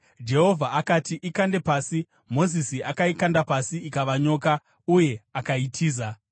Jehovha akati, “Ikande pasi.” Mozisi akaikanda pasi ikava nyoka, uye akaitiza.